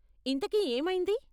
ఇంతకీ ఏమైంది?